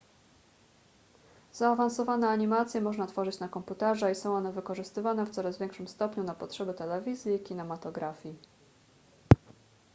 zaawansowane animacje można tworzyć na komputerze i są one wykorzystywane w coraz większym stopniu na potrzeby telewizji i kinematografii